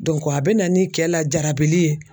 a bɛ na ni kɛ lajarabili ye